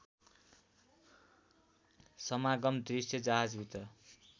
समागम दृश्य जहाजभित्र